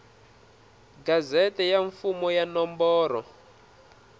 gazette ya mfumo ya nomboro